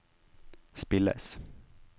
spilles